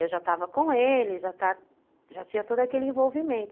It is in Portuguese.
Eu já estava com eles, já já tinha todo aquele envolvimento.